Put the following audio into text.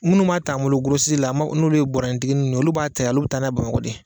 Munnu m'a t'an bolo la n'olu ye bɔɔrɔnin tigi ninnu ye olu b'a ta yan olu bɛ taa n'a ye Bamakɔ de.